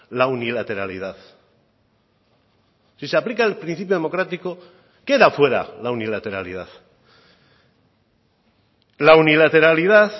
la unilateralidad si se aplica el principio democrático queda fuera la unilateralidad la unilateralidad